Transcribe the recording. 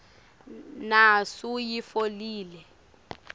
nasuyitfolile